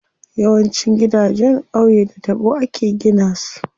Yawancin gidanjen qauye da taɓo ake gina su.